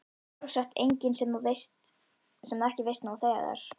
Sjálfsagt engin sem þú ekki veist nú þegar.